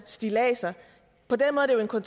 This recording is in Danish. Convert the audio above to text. at